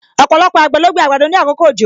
Ọpọlọpọ àgbẹ̀ ló gbin àgbàdo ni àkókò òjò